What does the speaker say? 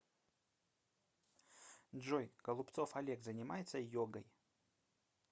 джой голубцов олег занимается йогой